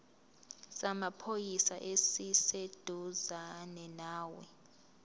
samaphoyisa esiseduzane nawe